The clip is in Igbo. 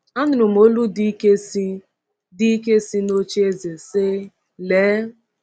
Anụrụm olu dị ike si, dị ike si, n’oche eze sị: Lee!